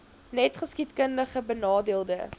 net geskiedkundig benadeelde